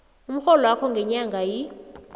umrholwakho ngenyanga yi